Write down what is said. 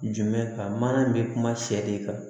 Jumɛn kan mana in be kuma sɛ de kan